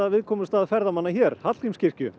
viðkomustað ferðamanna hér Hallgrímskirkju